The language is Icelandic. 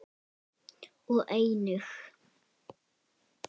og einnig